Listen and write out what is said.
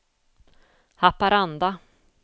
Haparanda